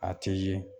A tɛ ye